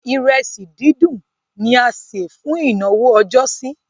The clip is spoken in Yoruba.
Ìrẹsì díndín ni a se fún ìnáwó ọjọ́sí.